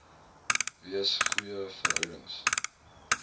wees goeie verhoudings